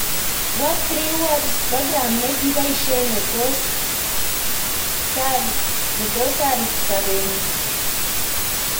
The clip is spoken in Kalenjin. What3words: program ne kiboishe ne tos sar sabeetngung